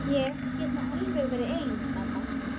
Ég get nú alveg verið ein mamma.